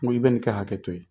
Uri Bɛn ka hakɛ to yen